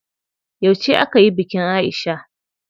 Yauce akayi bikin Aisha?